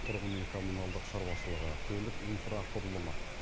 тұрғын үй коммуналдық шаруашылығы көлік инфрақұрылымы